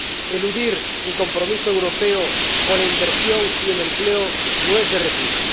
Eludir el compromiso europeo con la inversión y el empleo no es de recibo.